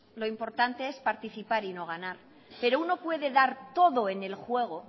lo importante es participar y no ganar pero uno puede dar